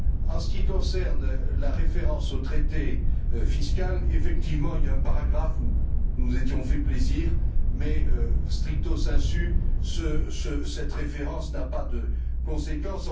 En ce qui concerne la référence au traité fiscal, effectivement, il y a un paragraphe où nous nous étions fait plaisir mais, stricto sensu, cette référence n'a pas de conséquence.